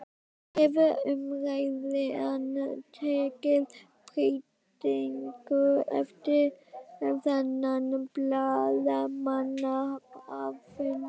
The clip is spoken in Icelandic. Hefur umræðan tekið breytingum eftir þennan blaðamannafund?